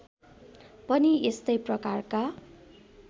पनि यस्तै प्रकारका